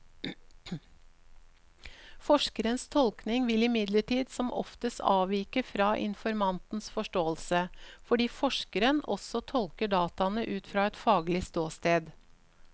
Forskerens tolkning vil imidlertid som oftest avvike fra informantens forståelse, fordi forskeren også tolker dataene ut fra et faglig ståsted.